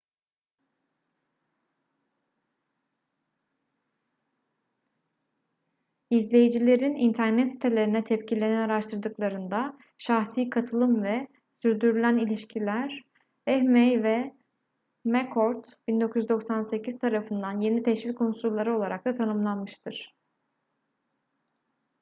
i̇zleyicilerin internet sitelerine tepkilerini araştırdıklarında şahsi katılım” ve sürdürülen ilişkiler” eighmey ve mccord 1998 tarafından yeni teşvik unsurları olarak da tanımlanmıştır